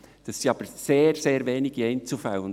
Dabei handelt es sich jedoch um sehr wenige Einzelfälle.